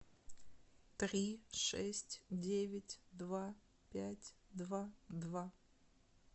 три шесть девять два пять два два